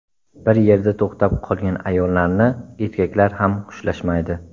Bir yerda to‘xtab qolgan ayollarni erkaklar ham xushlashmaydi.